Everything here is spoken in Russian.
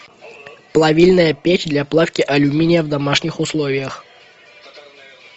плавильная печь для плавки алюминия в домашних условиях